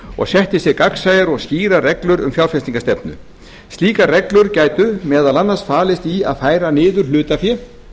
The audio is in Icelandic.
og setti sér gagnsæjar og skýrar reglur um fjárfestingarstefnu slíkar reglur gætu meðal annars falist í að færa niður hlutafé